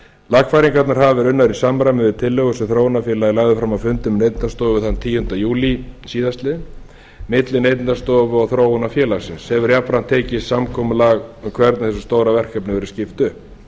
lagfæringarnar hafa verið unnar í samræmi við tillögur sem þróunarfélagið lagði fram á fundum neytendastofu þann tíunda júlí síðastliðinn milli neytendastofu og þróunarfélagsins hefur jafnframt tekist samkomulag um hvernig stóra verkefninu verður skipt upp